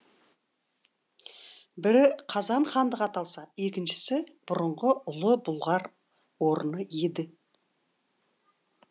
бірі қазан хандығы аталса екіншісі бұрынғы ұлы бұлғар орны еді